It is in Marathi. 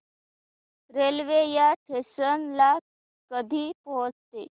रेल्वे या स्टेशन ला कधी पोहचते